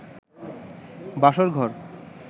বাসর ঘর